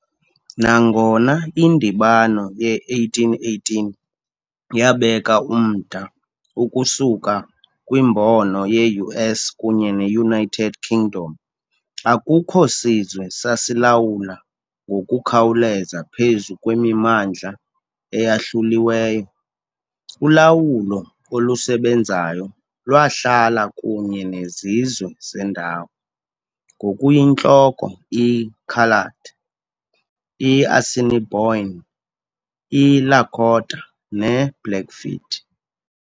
Nangona indibano ye-1818 yabeka umda ukusuka kwimbono ye-US kunye ne-United Kingdom, akukho sizwe sasilawula ngokukhawuleza phezu kwemimandla eyahluliweyo- ulawulo olusebenzayo lwahlala kunye nezizwe zendawo, ngokuyintloko i- Coloured, i-Assiniboine, i-Lakota ne -Blackfeet.